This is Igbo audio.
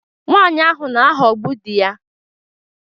Nwanyị ahụ na-aghọgbu di ya